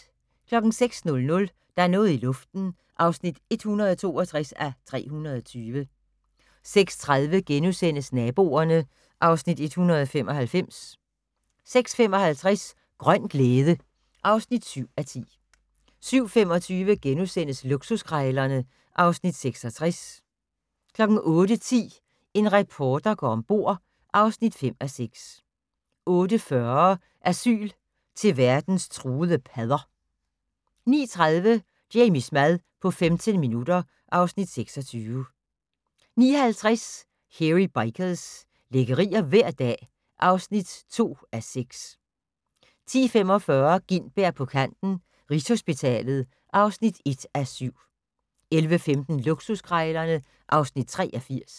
06:00: Der er noget i luften (162:320) 06:30: Naboerne (Afs. 195)* 06:55: Grøn glæde (7:10) 07:25: Luksuskrejlerne (Afs. 66)* 08:10: En reporter går om bord (5:6) 08:40: Asyl til verdens truede padder 09:30: Jamies mad på 15 minutter (Afs. 26) 09:50: Hairy Bikers - lækkerier hver dag (2:6) 10:45: Gintberg på kanten - Rigshospitalet (1:7) 11:15: Luksuskrejlerne (Afs. 83)